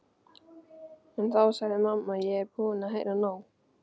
En þá sagði mamma: Ég er búin að heyra nóg!